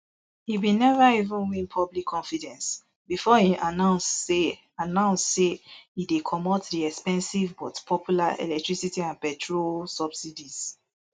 e bin neva even win public confidence bifor im announce say announce say e dey comot di expensive but popular electricity and petrol subsidies